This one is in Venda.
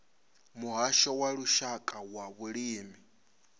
muhasho wa lushaka wa vhulimi